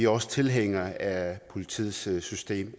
også tilhængere af politiets system